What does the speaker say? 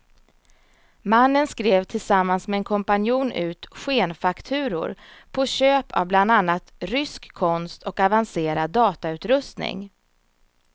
Mannen skrev tillsammans med en kompanjon ut skenfakturor på köp av bland annat rysk konst och avancerad datautrustning.